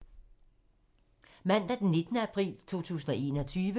Mandag d. 19. april 2021